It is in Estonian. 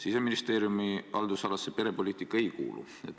Siseministeeriumi haldusalasse perepoliitika ei kuulu.